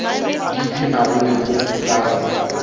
di phemago lehu ka gona